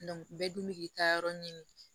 bɛɛ dun bɛ k'i taa yɔrɔ ɲini